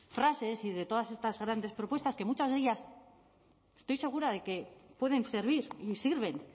frases y de todas estas grandes propuestas que muchas de ellas estoy segura de que pueden servir y sirven